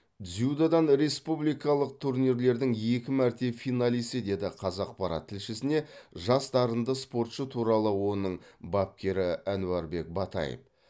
дзюдодан республикалық турнирлердің екі мәрте финалисі деді қазақпарат тілшісіне жас дарынды спортшы туралы оның бапкері әнуарбек батаев